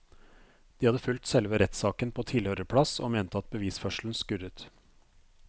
De hadde fulgt selve rettssaken på tilhørerplass og mente at bevisførselen skurret.